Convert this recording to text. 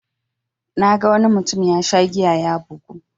Naga wani mutum yasha giya ya bugu.